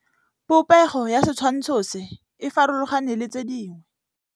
Popêgo ya setshwantshô se, e farologane le tse dingwe.